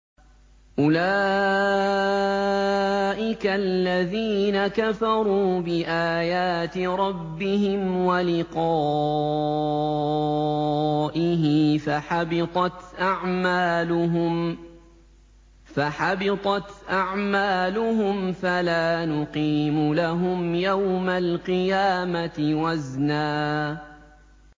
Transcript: أُولَٰئِكَ الَّذِينَ كَفَرُوا بِآيَاتِ رَبِّهِمْ وَلِقَائِهِ فَحَبِطَتْ أَعْمَالُهُمْ فَلَا نُقِيمُ لَهُمْ يَوْمَ الْقِيَامَةِ وَزْنًا